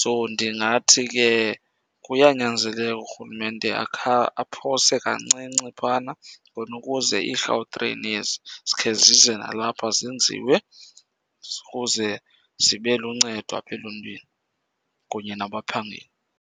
So ndingathi ke kuyanyanzeleka urhulumente akhe aphose kancinci phana khona ukuze iiGautrain ezi zikhe zize nalapha zenziwe ukuze zibe luncedo apha eluntwini kunye nabaphangeli.